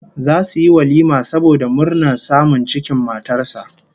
Zasu yi walima saboda murnar samun cikin matar sa